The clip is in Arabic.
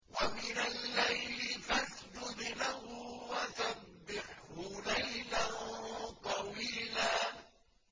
وَمِنَ اللَّيْلِ فَاسْجُدْ لَهُ وَسَبِّحْهُ لَيْلًا طَوِيلًا